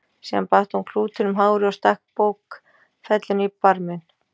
Síðan batt hún klútinn um hárið og stakk bókfellinu í barminn.